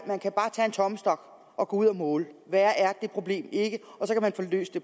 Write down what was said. man kan bare tage en tommestok og gå ud og måle værre er det problem ikke og så kan man få løst det